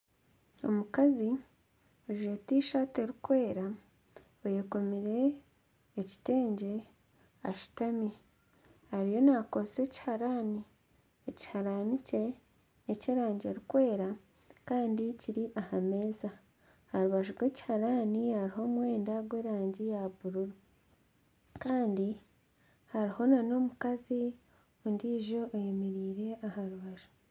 Omukazi ajwaire t-shirt erikwera ayekomire ekitengye ashutami ariyo nakozesa ekiharani ekiharani kye n'ekyerangi erikwera Kandi kiri aha meeza aha rubaju rw'ekiharani hariho omwenda gw'erangi ya bururu Kandi hariho n'omukazi ondiijo ayemereire aha rubaju